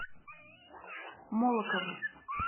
молокову